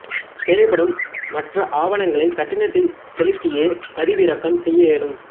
தேவைப்படும் மற்ற ஆவணங்களை கட்டணத்தைச் செலுத்தியே பதிவிறக்கம் செய்ய இயலும்